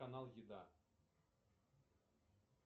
канал еда